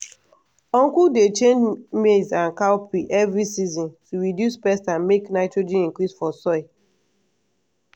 uncle dey change maize and cowpea every season to reduce pest and make nitrogen increase for soil.